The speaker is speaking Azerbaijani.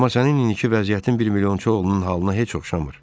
Amma sənin indiki vəziyyətin milyonçu oğlunun halına heç oxşamır.